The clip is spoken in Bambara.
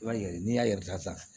I b'a ye n'i y'a datugu sisan